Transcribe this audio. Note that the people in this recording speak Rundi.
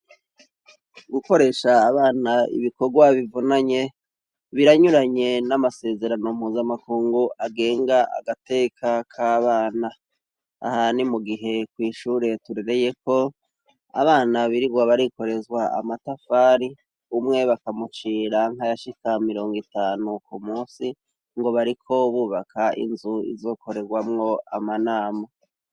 gukoresha abana ibikorwa bivonanye biranyuranye n'amasezerano mpuzamakungu agenga agateka k'abana aha ni mugihe kw' ishure turereye ko abana birirwa barikorezwa amatafari umwe bakamucira nkayashika mirongo itanu ku munsi ngo bariko bubaka inzu izokorerwamwo amanamu